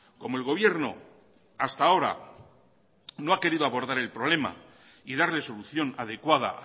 como el gobierno hasta ahora no ha querido abordar el problema y darle solución adecuada